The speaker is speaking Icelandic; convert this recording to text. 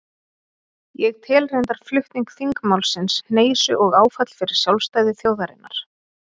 Ég tel reyndar flutning þingmálsins hneisu og áfall fyrir sjálfstæði þjóðarinnar.